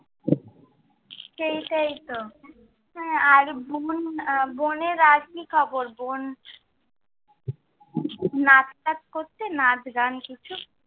সেইটাই তো। আর বোন, বোনের আর কি খবর? বোন নাচ টাচ করছে, নাচ গান কিছু?